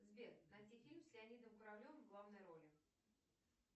сбер найди фильм с леонидом куравлевым в главной роли